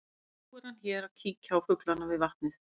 Og nú er hann hér að kíkja á fuglana við vatnið mitt.